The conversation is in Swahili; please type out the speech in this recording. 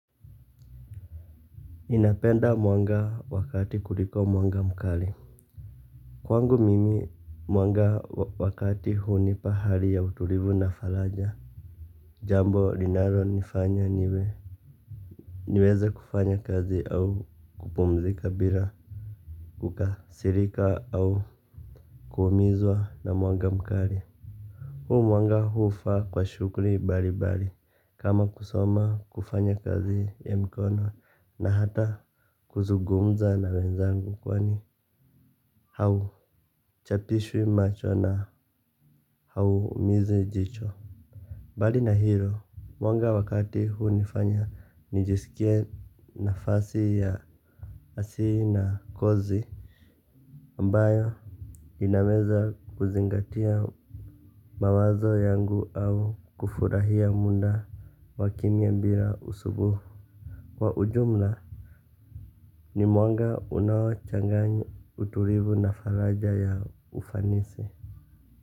Ninapenda mwanga wa kati kuliko mwanga mkali. Kwangu mimi mwanga wa kati hunipa hali ya utulivu na faraja. Jambo linalonifanya niweze kufanya kazi au kupumzika bila kukasirika au kuumizwa na mwanga mkali. Huu mwanga hufaa kwa shughuli mbalimbali kama kusoma, kufanya kazi ya mikono na hata kuzungumza na wenzangu kwani hauchapishwi macho na haumizi jicho. Mbali na hilo mwanga wa kati hunifanya nijisikie nafasi ya asii na kozi ambayo inaweza kuzingatia mawazo yangu au kufurahia muda wa kimya bila usumbufu. Kwa ujumla. Ni mwanga unao changanya utulivu na faraja ya ufanisi.